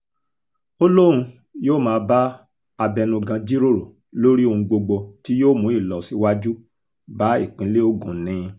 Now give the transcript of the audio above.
ó lóun yóò máa bá abẹnugan jíròrò lórí ohun gbogbo tí yóò mú ìlọsíwájú bá ìpínlẹ̀ ogun ni